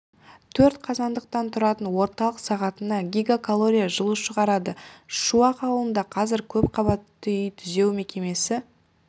төрт қазандықтан тұратын орталық сағатына гигакалория жылу шығарады шуақ ауылында қазір көп қабатты үй түзеу мекемесі